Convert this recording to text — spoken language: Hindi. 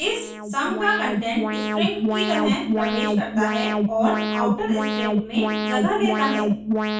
इस सम का कंटेंट स्ट्रिंग की तरह प्रवेश करता है और आउटर स्ट्रिंग में जगह लेता है